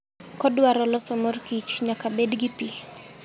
Kodwaro loso mor kich, nyaka bed gi pi.